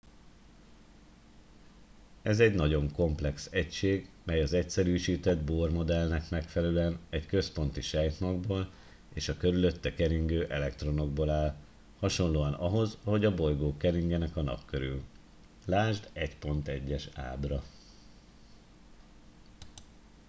ez egy nagyon komplex egység mely az egyszerűsített bohr modellnek megfelelően egy központi sejtmagból és a körülötte keringő elektronokból áll hasonlóan ahhoz ahogy a bolygók keringenek a nap körül ld 1.1. ábra